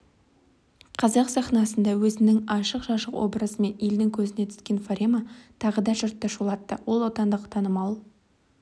қазақ сахнасында өзінің ашық-шашық образымен елдің көзіне түскен фарема тағы да жұртты шулатты ол отандық танымал